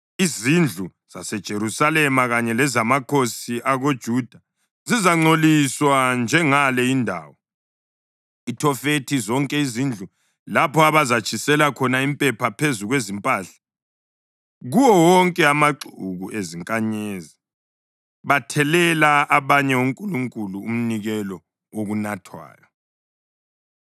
Izindlu zaseJerusalema kanye lezamakhosi akoJuda zizangcoliswa njengale indawo, iThofethi, zonke izindlu lapho abazatshisela khona impepha phezu kwezimpahla kuwo wonke amaxuku ezinkanyezi, bathelela abanye onkulunkulu umnikelo wokunathwayo.’ ”